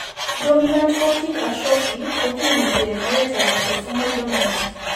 Dominant optic atrophy ko kiinti eng' oretap autosomal dominant.